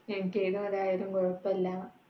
എനിക്ക് ഏതു മതം ആയാലും കുഴപ്പമില്ല.